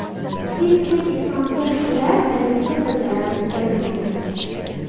Hech kim islomga ularchalik katta zarar yetkazmaydi”.